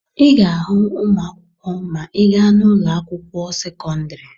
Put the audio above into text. Ị ga-ahụ ụmụ akwụkwọ ma ị gaa n'ụlọ akwụkwọ sekọndịrị.